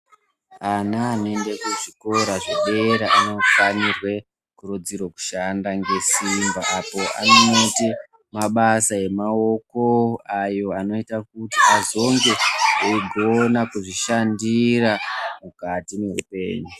Ana anoenda kuzvikora zvedera anofanirwa kukurudzirwa kushanda nesimba awo anoita mabasa emaoko awo anoita kuti azonge eigona kuzvishandira mukati mehupenyu.